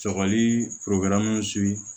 Sɔgɔli